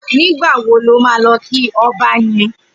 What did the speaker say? Nigbà wó ni ó mà lọ ki ọ̀bá yèn?